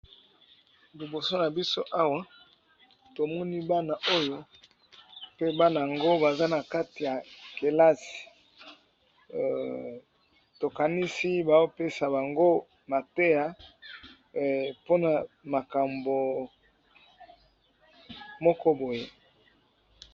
Liboso na biso awa tomoni bana oyo pe bana yango baza na kati ya kelasi tokanisi bao pesa bango mateya mpona makambo moko boye.